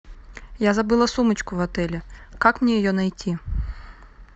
я забыла сумочку в отеле как мне ее найти